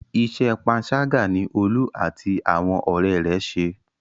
Iṣẹ́ panṣágà ni Olú àti àwọn ọ̀rẹ́ rẹ̀ ṣe.